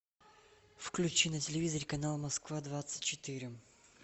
включи на телевизоре канал москва двадцать четыре